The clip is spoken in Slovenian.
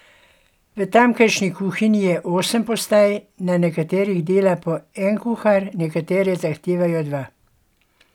V tamkajšnji kuhinji je osem postaj, na nekaterih dela po en kuhar, nekatere zahtevajo dva.